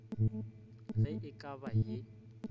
ge e ka ba ye